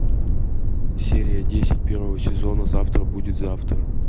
серия десять первого сезона завтра будет завтра